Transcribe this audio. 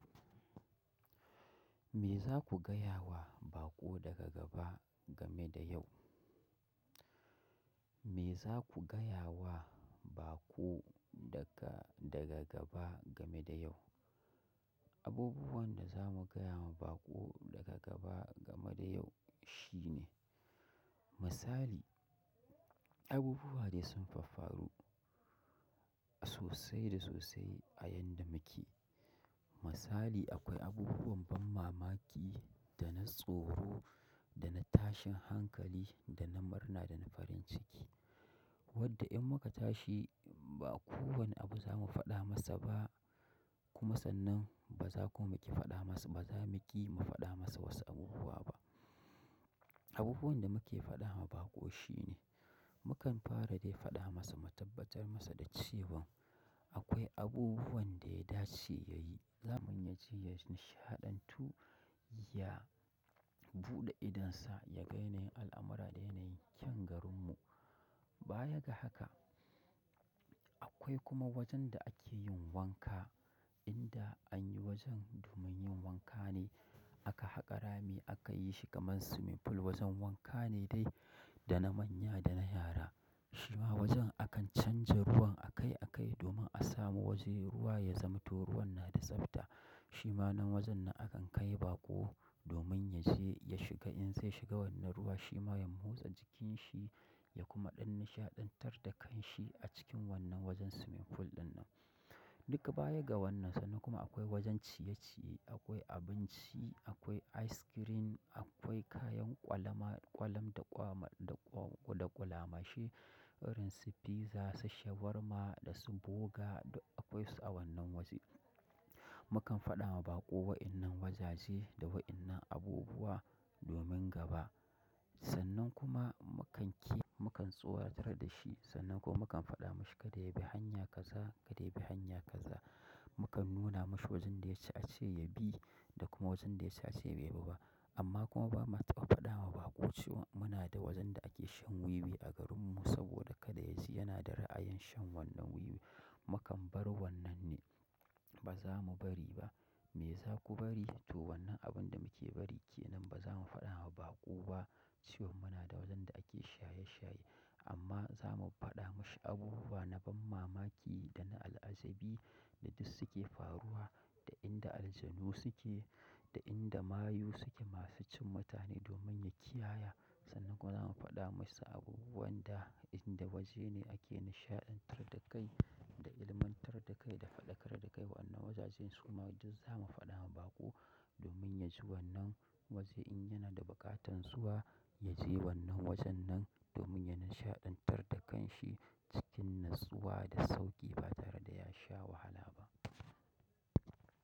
Me za ku gaya wa baƙo daga gaba game da yau? Me za ku gaya wa baƙo daga, daga gaba game da yau? Abubuwan da zamu gaya ma baƙo daga gaba game da yau shine misali, abubuwa dai sun faffaru sosai da sosai a yanda muke. Masali akwai abubuwan ban mamaki dana tsoro, dana tashin hankali, dana murna, dana farin ciki. Wadda in muka tashi ba kowane abu zamu faɗa masa ba. Kuma sannan baza kuma ki faɗa masa, ba zamu ƙi mu faɗa masa wasu abubuwa ba. Abubuwan da muke faɗa ma baƙo shine, mukan fara dai faɗa masa, mu tabbatan masa da cewa akwai abubuwan da ya dace yayi. Zamu yaje ya nishaɗantu, ya buɗe idonsa, ya ga yanayin al'amara da yanayin ƙyan garinmu. Baya ga haka, akwai kuma wajen da ake yin wanka. Inda anyi wajen domin yin wanka ne. Aka haƙa rami, aka yi shi kaman swimming pool. Wajen wanka ne dai, da na manya da na yara. Shima wajen akan canja ruwan a kai a kai domin a samu waje ruwa ya zamanto ruwan na da tsafta. Shi ma nan wajen nan akan kai baƙo domin yaje ya shiga. In sin shiga wannan ruwa shima ya motsa jikinshi, ya kuma ɗan nishaɗantar da kanshi a cikin wannan wajen swimming pool ɗinnan. Duka baya ga wannan sannan kuma akwai wajen ciye-ciye. Akwai abinci, akwai ice cream, akwai kayan ƙwalama, ƙwalam da ƙwama, da ƙwa, da ƙwulama shi irin su fiza, su shawarma dasu burger da akwai su a wannan waje. Mukan faɗa ma baƙo wayannan wazaje da wayannan abubuwa domin gaba. Sannan kuma mukanki mukan tsoratar dashi. Sannan kuma mukan faɗa mashi kada yabi hanya kaza, kada yabi hanya kaza. Mukan nuna mashi wajen da yaci a ce yabi da kuma wajen da yaci ace bai bi ba. Amma kuma bama faɗa ma baƙo cewa munada wajen da ake shan wiwi a garinmu saboda kada yaji yana da ra'ayin shan wannan wiwi. Mukan bar wannan ne, ba zamu bari ba. Me za ku bari? To wannan abun da muke bari kenan ba zamu faɗa ma baƙo ba cewa muna da wajen da ake shaye-shaye. Amma zamu faɗa mishi abubuwa na ban mamaki dana al'ajabi da dussuke faruwa, da inda aljanu suke, da inda mayu suke masu cin mutane domin ya kiyaya. Sannan kuma zamu faɗa masa abubuwan da inda wajene ake nishaɗantar da kai, da ilmantar da kai, da faɗakar da kai. Wa, annan wazajen suma duz zamu faɗa ma baƙo domin yaji wannan waje in yana da bukatan zuwa, yaje wannan wajen nan domin ya nishaɗantar da kanshi cikin nutsuwa da sauƙi ba tare da ya sha wahala ba.